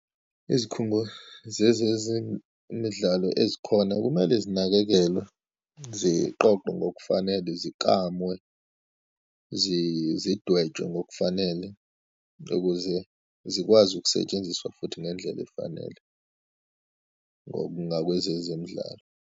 Izikhungo zeze zemidlalo ezikhona kumele zinakekelwe, ziqoqwe ngokufanele, ziklamwe, zidwetshwe ngokufanele, ukuze zikwazi ukusetshenziswa futhi ngendlela efanele ngo, ngakwezezemidlalo.